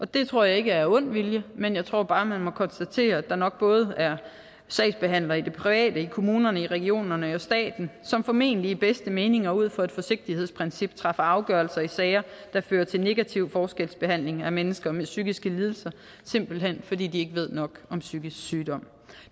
det tror jeg ikke er af ond vilje men jeg tror bare man må konstatere at der nok både er sagsbehandlere i det private i kommunerne i regionerne og i staten som formentlig i den bedste mening og ud fra et forsigtighedsprincip træffer afgørelser i sager der fører til negativ forskelsbehandling af mennesker med psykiske lidelser simpelt hen fordi de ikke ved nok om psykisk sygdom